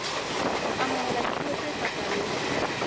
ho amohela dipuo tse fapaneng